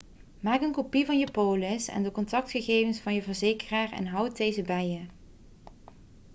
maak een kopie van je polis en de contactgegevens van je verzekeraar en houd deze bij je